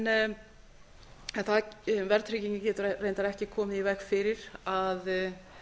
en verðtryggingin getur reyndar ekki komið í veg fyrir að